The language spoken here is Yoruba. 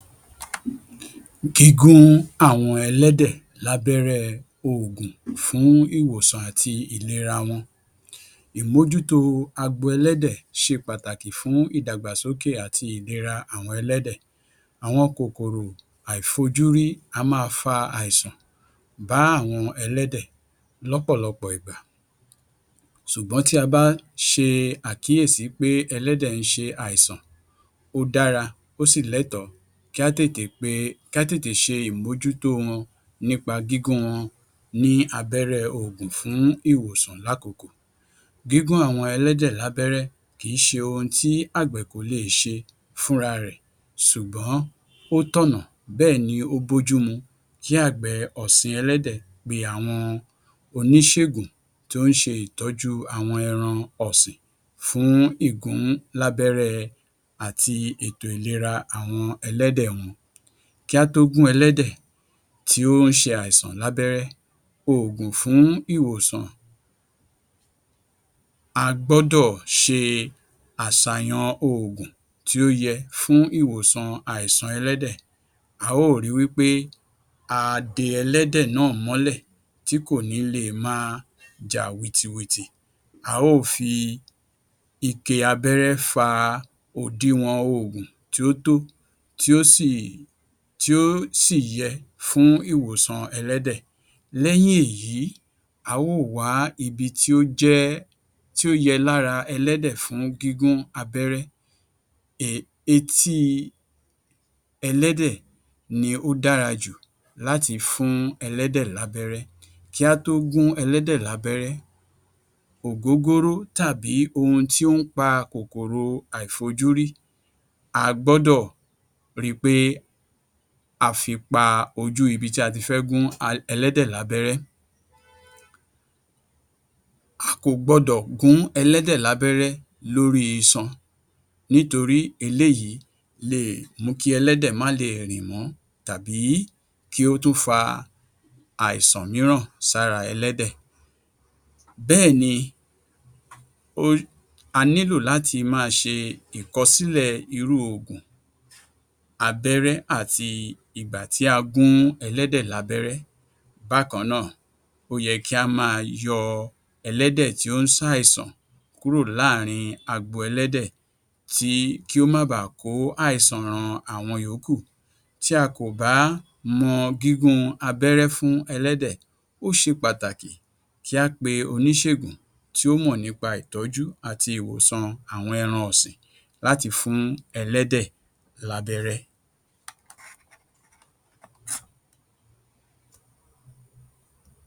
Gígún àwọn ẹlẹ́dẹ̀ lábẹ́rẹ́ẹ oògùn fún ìwòsàn àti ìlera wọn Ìmójútó agbo ẹlẹ́dẹ̀ ṣe pàtàkì fún ìdàgbàsókè àti ìlera àwọn ẹlẹ́dẹ̀. Àwọn kòkòrò àìfojúrí á máa fa àìsàn bà àwọn ẹlẹ́dẹ̀ lọ́pọ̀lọpọ̀ ìgbà. Ṣùgbọ́n tí a bá ṣe àkíyèsí pé ẹlẹ́dẹ̀ ń ṣe àìsàn, ó dára ó sì lẹ́tọ̀ọ́ kí á tètè pe kí á tètè ṣe ìmójútó wọn nípa gígún wọn ní abẹ́rẹ́ oògùn fún ìwòsàn láàkókò. Gígún àwọn ẹlẹ́dẹ̀ lábẹ́rẹ́ kì í ṣe ohun tí àgbẹ̀ kò leè ṣe fúnra rẹ̀ ṣùgbọ́n ó tọ̀nà bẹ́ẹ̀ ni ó bójú mu kí àgbẹ̀ ọ̀sìn ẹlẹ́dẹ̀ pe àwọn oníṣègùn tó ń ṣe ìtọ́jú àwọn ẹran ọ̀sìn fún ìgún lábẹ́rẹ́ àti ètò ìlera àwọn ẹlẹ́dẹ̀ wọn. Kí a tó gún ẹlẹ́dẹ̀ tí ó ń ṣe àìsàn lábẹ́rẹ́ oògùn fún ìwòsàn, a gbọ́dọ̀ ṣe àsàyan oògùn tí ó yẹ fún ìwòsàn àìsàn ẹlẹ́dẹ̀. A ó ri wípé a de ẹlẹ́dẹ̀ náà mọ́lẹ̀ tí kò ní lè máa jà wìtìwìtì. A ó fi ike abẹ́rẹ́ fa òdiwọ̀n oògùn tí ó tó tí ó sì tí ó sì yẹ fún ìwòsàn ẹlẹ́dẹ̀. Lẹ́yìn èyí a ó wa ibi tí ó jẹ́ tí ó yẹ lára ẹlẹ́dẹ̀ fún gígún abẹ́rẹ́ um etí ẹlẹ́dẹ̀ ni ó dára jù láti fún ẹlẹ́dẹ̀ lábẹ́rẹ́. Kí á tó gún ẹlẹ́dẹ̀ lábẹ́rẹ́, ògógóró tàbí ohun tí ó ń pa kòkòrò àìfojúrí a gbọ́dọ̀ ri í pé a fi pa ojú ibi tí a ti fẹ́ gún ẹlẹ́dẹ̀ lábẹ́rẹ́. A kò gbọdọ̀ gún ẹlẹ́dẹ̀ lábẹ́rẹ́ lórí iṣan nítorí eléyìí leè mú kí ẹlẹ́dẹ̀ má leè rìn mọ́ tàbí kí ó tún fa àìsàn mìíràn sára ẹlẹ́dẹ̀. Bẹ́ẹ̀ ni o a nílò láti máa ṣe ìkọsílẹ̀ irú oògùn abẹ́rẹ́ àti ìgbà tí a gún ẹlẹ́dẹ̀ lábẹ́rẹ́. Bákan náà ó yẹ kí á máa yọ ẹlẹ́dẹ̀ tí ó ń ṣàìsàn kúrò láàárín agbo ẹlẹ́dẹ̀ tí kí ó máa baà kó àìsàn ran àwọn ìyókù. Tí a kò bá mọ gígún abẹ́rẹ́ fún ẹlẹ́dẹ̀ ó ṣe pàtàkì kí á pe oníṣègùn tí ó mọ̀ nípa ìtọ́jú àti ìwòsàn àwọn ẹran ọ̀sìn láti fún ẹlẹ́dẹ̀ lábẹ́rẹ̀.